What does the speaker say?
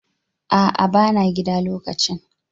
A'a bana gida lokacin